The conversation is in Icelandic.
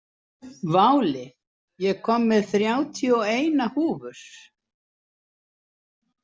Váli, ég kom með þrjátíu og eina húfur!